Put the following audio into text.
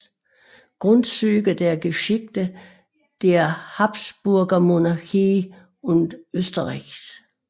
Grundzüge der Geschichte der Habsburgermonarchie und Österreichs